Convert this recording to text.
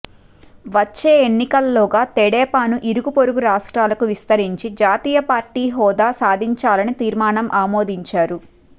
వచ్చే ఎన్నికలలోగా తెదేపాను ఇరుగు పొరుగు రాష్ట్రాలకు విస్తరించి జాతీయ పార్టీ హోదా సాధించాలని తీర్మానం ఆమోదించారు